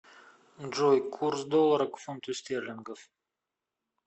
джой курс доллара к фунту стерлингов